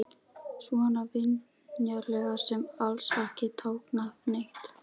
Svona vingjarnleg sem alls ekki táknaði neitt.